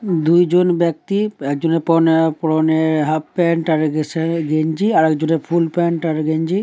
দুইজন ব্যক্তি একজনের পরনে পরনে হাফ প্যান্ট আর সেন গেঞ্জি আর আরেকজনের ফুল প্যান্ট ও গেঞ্জি।